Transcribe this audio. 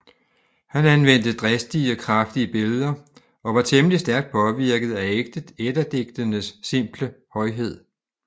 Han anvendte dristige og kraftige billeder og var temmelig stærkt påvirket af Eddadigtenes simple højhed